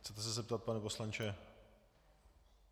Chcete se zeptat, pane poslanče?